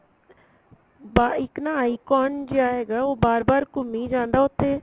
ਬਾ ਇੱਕ ਨਾ icon ਜਿਹਾ ਹੈਗਾ ਉਹ ਬਾਰ ਬਾਰ ਘੁੰਮੀ ਜਾਂਦਾ ਉੱਥੇ